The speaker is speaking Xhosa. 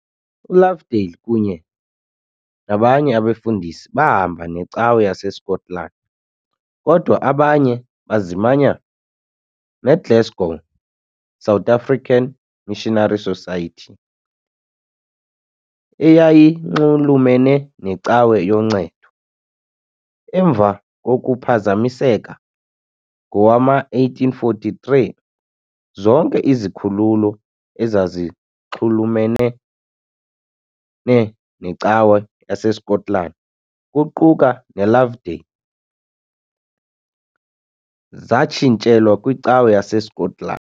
ULovedale kunye nobanye abefundisi bahamba neCawa yaseSkotlani, kodwa abanye bazimanya neGlasgow South African Missionary Society, eyayinxulumene neCawa yoNcedo, emva kokuphazamiseka ngowama1843 zonke izikhululo ezazinxulumene neCawa yaseSkotlani, kuquka neLovedale, zatshintshelwa kwiCawa yaseSkotlani .